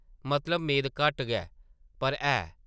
मतलब मेद घट्ट गै, पर है ।